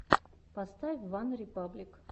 поставь ван репаблик